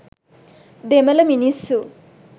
දෙමළ මිනිස්සු